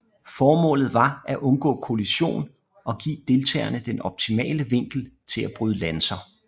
Formålet var et undgå kollision og give deltagerne den optimale vinkel til at bryde lanser